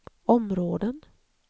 områden